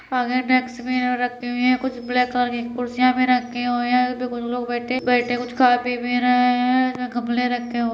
आगे डेस्क भी रखीं हुई हैं कुछ ब्लैक कलर की कुर्सियां भी रखी हुई हैं जहां पे कुछ लोग बैठे बैठे कुछ खा- पी भी रहे हैं जहाँ गमले भी रखे हुए --